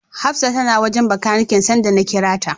Hafsa tana wajen Bakaniken sanda na kira ta.